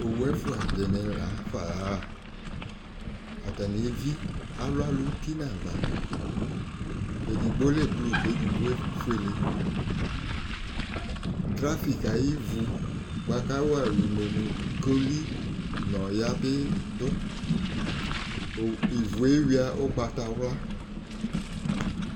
owu ɛfua di ni la fa ya ɣa atani evi alu alò uti n'ava edigbo lɛ blu k'edigbo efuele trafik ayi ivu boa kò awa alò une mo koli n'ɔya bi do ivu yɛ ewia ugbata wla